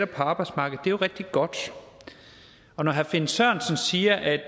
på arbejdsmarkedet det er jo rigtig godt når herre finn sørensen siger at